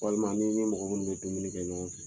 Walima n'i ni mɔgɔ minnu bɛ dumuni kɛ ɲɔgɔn fɛ.